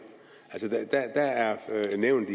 det nævnes